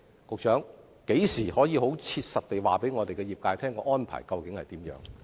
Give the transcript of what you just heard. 局長，何時可以切實地告訴業界有關安排為何？